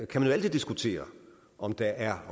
kan man jo altid diskutere om der er